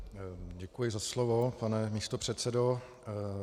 Děkuji za slovo, pane místopředsedo.